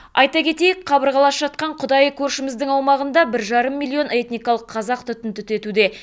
айта кетейік қабырғалас жатқан құдайы көршіміздің аумағында бір жарым миллион этникалық қазақ түтін түтетуде